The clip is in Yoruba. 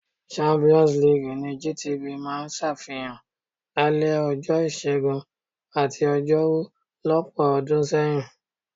Champions league ni GTV máa ń ṣàfihàn lálẹ́ ọjọ́ Ìṣẹ́gun àti Ọjọ́rú lọ́pọ̀ ọdún sẹ́yìn.